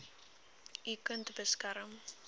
u kind beskerm